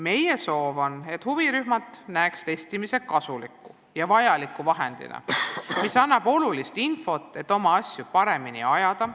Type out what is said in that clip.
Meie soov on, et huvirühmad näeksid testimist kasuliku ja vajaliku vahendina, mis annab olulist infot, et oma asju paremini ajada.